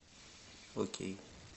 окей